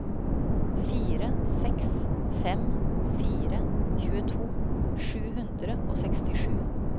fire seks fem fire tjueto sju hundre og sekstisju